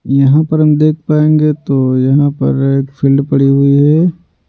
यहाँ पर हम देख पाएंगे तो यहाँ पर एक फील्ड पड़ी हुई है।